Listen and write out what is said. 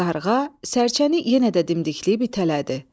Qarğa sərçəni yenə də dimdikləyib itələdi.